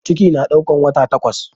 Ciki na ɗaukan wata takwas